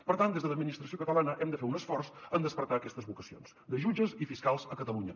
per tant des de l’administració catalana hem de fer un esforç en despertar aquestes vocacions de jutges i fiscals a catalunya